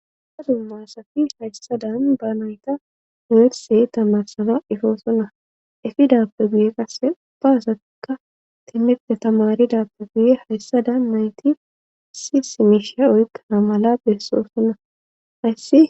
Dumma dumma asati hayssadan baanoyta muursey tamarsana ifoosonna efidappe guye qasse ubbaazatika timidte tamaridappe guye hayssada mayti si simishia oykkana mala beessosonna hayssi.